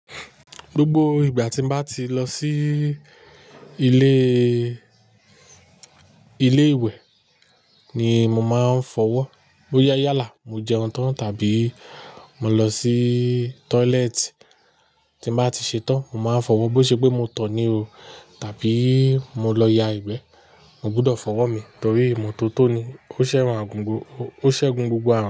Gbogbo ìgbà tí mo bá ti lọ sí ilé, ilé ìwẹ̀ ni mo máa ń fọwọ́. Bo yá yà là, mo jẹun tán tàbí mo lọ sí toileti. Tí mo bá ti ṣe tán, mo máa ń fọwọ́. Bó ṣe pé mo tọ̀ ọ́ ní o tàbí mo lọ ya ìgbẹ́. Mo gbọdọ̀ fọwọ́ mi torí imọ́tótó ni, ó sẹ́gun gbogbo àrùn.